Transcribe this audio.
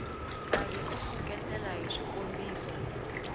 karhi u seketela hi swikombiso